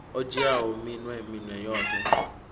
o dzhiaho minwe minwe yoṱhe